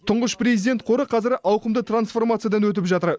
тұңғыш президент қоры қазір ауқымды трансформациядан өтіп жатыр